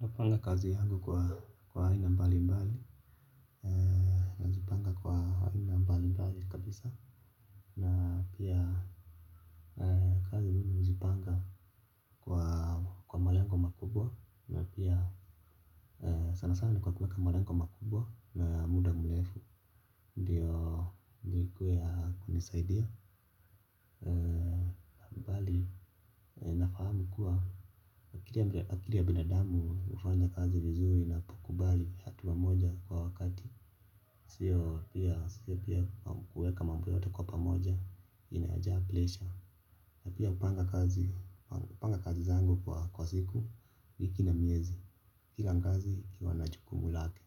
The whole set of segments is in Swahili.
Napanga kazi yangu kwa aina mbalimbali. Nazipanga kwa aina mbalimbali kabisa na pia kazi mimi huzipanga kwa malengo makubwa, na pia sana sana ni kwa kuweka malengo makubwa na ya muda mrefu ndiyo zikuwe ya kunisaidia. Mbali nafahamu kuwa akili ya binadamu hufanya kazi vizuri inapokubali hatua moja kwa wakati. Sio pia kuweka mambo yote kwa pamoja inajaa presha. Na pia hupanga kazi zangu kwa kwa siku, wiki na miezi kila kazi ikiwa na jukumu lake.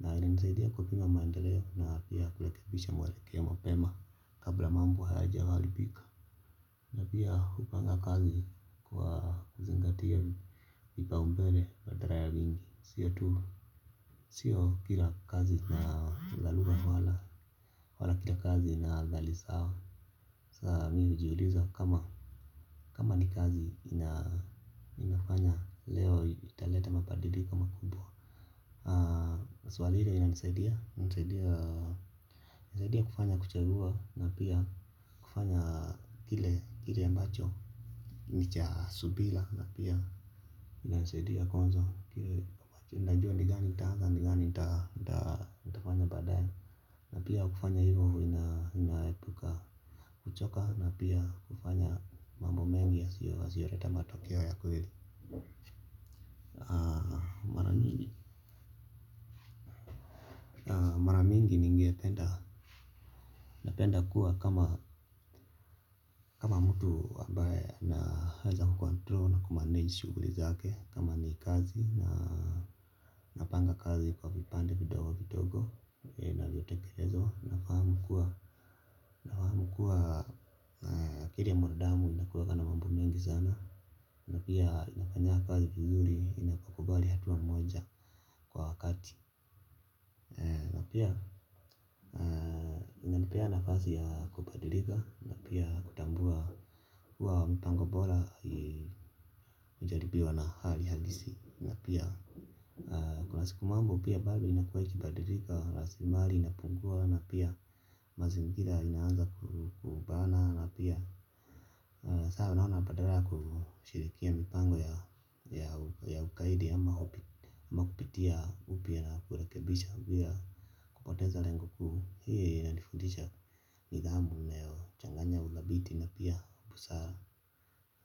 Na inanisaidia kupima maendeleo na pia kurekebisha mwelekeo mapema kabla mambo hayajaharibika. Na pia hupanga kazi kwa kuzingatia vipaumbele wa driving sio tu sio kila kazi na dhalula wala wala kila kazi ina athari sawa. Saa mi hujiuliza kama kama ni kazi ina inafanya leo italeta mabadiliko makubwa, swali ile inanisaidia saidia kufanya kuchagua na pia kufanya kile ambacho ni cha subira na pia inanisaidia kuanza kile najua ni gani nitaanza, ni gani ni gani nitafanya baadaye. Na pia kufanya hivyo inaepuka kuchoka na pia kufanya mambo mengi yasiyoleta matokeo ya kweli. Mara mingi. Mara mingi ningependa, napenda kuwa kama kama mtu ambaye anaweza kucontrol na kumanage shughuli zake kama ni kazi na napanga kazi kwa vipande vidogo vidogo inavyotekelezwa, nafahamu kuwa nafahamu kuwa akili ya mwanadamu inakuwanga na mambo mengi sana. Na pia inafanyanga kazi vizuri inapokubali hatua moja kwa wakati. Na pia inanipea nafasi ya kubadilika na pia kutambua kuwa mpango bora hujaribiwa na hali halisi, na pia kuna siku mambo pia bado inakuwa ikibadilika, rasilimali inapungua na pia mazingira inaanza kubana na pia na saa unaona badala ya kushirikia mipango ya ya ugaidi ama ama kupitia upya na kurekebisha bila, kupoteza lengo kuu hii inadifundisha nidhamu inayochanganya uthabiti na pia busara.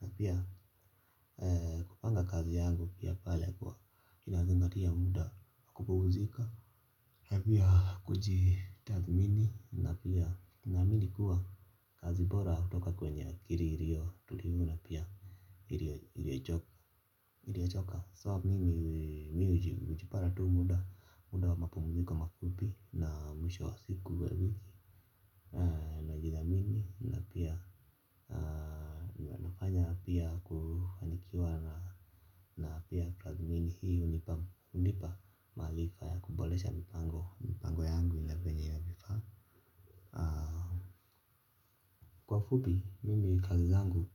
Na pia kupanga kazi yangu pia pale kwa inazingatia muda, kupumzika na pia kujitathmini na pia naamini kuwa kazi bora hutoka kwenye kililio tulivu na pia iliochoka so mimi mi hujipata tu muda wa mapumziko mafupi na mwisho wa siku wa wiki najithamini na pia mi huwa nafanya pia kufanikiwa na pia tathmini hii hunipa maarifa ya kuboresha mipango mpango yangu ya venye inavyofaa. Kwa ufupi mimi kazi zangu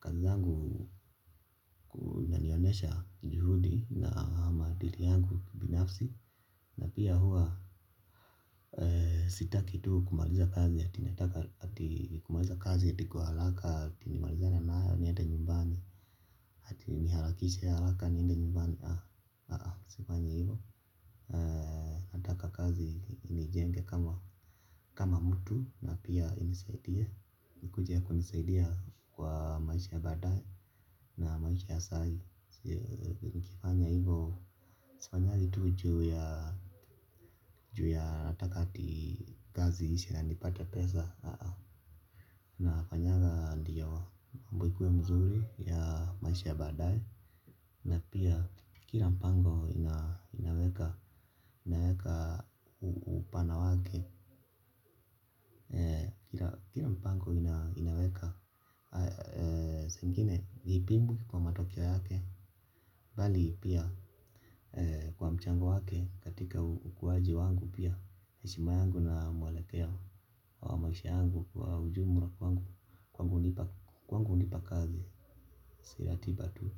kagi zangu inanionyesha juhudi na maadili yangu kibinafsi. Na pia huwa sitaki tu kumaliza kazi ati nataka ati kumaliza kazi ati kwa haraka ati nimalizane nayo niende nyumbani. Ati niharakishe haraka niende nyumbani, ah-ah sifanyi hivyo. Nijenge kama kama mtu na pia inisaidie, ikuje kunisaidia kwa maisha ya baadae na maisha ya saa hii. Nikifanya hivyo sifanyangi tu juu ya juu ya nataka ati kazi iishe na nipate pesa ah ah. Nafanyanga ndiyo mambo ikuwe mzuri ya maisha ya baadaye. Na pia kila mpango inaweka. Upana wake. Kila mpango inaweka zingine ni pimbu kwa matokeo yake bali pia kwa mchango wake katika ukuwaji wangu pia, heshima yangu na mwelekeo wa maisha yangu kwa ujumla kwangu kwangu hunipa kazi si ratiba tu.